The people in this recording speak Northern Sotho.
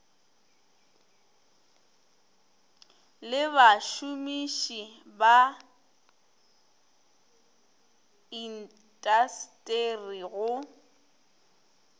le bašomiši ba intasteri go